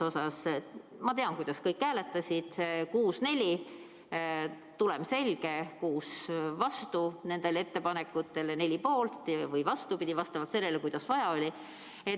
Ma tean, kuidas kõik hääletasid, 6 : 4, tulem selge: 6 oli vastu nendele ettepanekutele ja 4 poolt või vastupidi, vastavalt sellele, kuidas vaja oli.